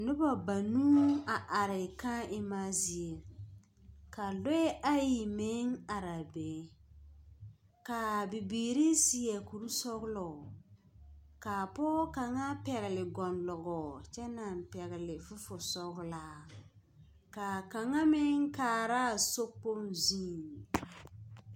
Noba banuu a are kãã emma zie. Ka lɔɛɛ ayi meŋ araa be. Kaa bibiiri seɛ kur sɔglɔ, kaa pɔɔ kaŋa pɛgele gɔnlɔgɔɔ kyɛ naŋ pɛgle sesosɔglaa. kaa kaŋa meŋ kaaraa sokpoŋ zuŋ.